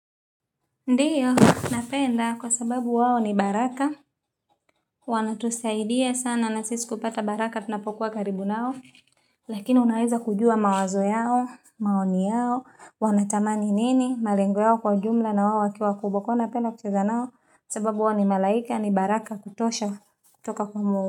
Ndiyo, napenda kwa sababu wao ni baraka. Wanatusaidia sana, na sisi kupata baraka, tunapokuwa karibu nao. Lakini unaweza kujua mawazo yao, maoni yao, wanatamani nini, malengo yao kwa jumla na wao wakiwa wakubwa kwao napenda kucheza nao. Sababu wao ni malaika, ni baraka kutosha, kutoka kwa mo.